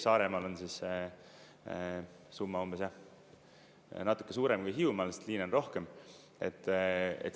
Saaremaal on see summa umbes jah, natukene suurem kui Hiiumaal, sest liine on rohkem.